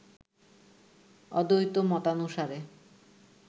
অদ্বৈত মতানুসারে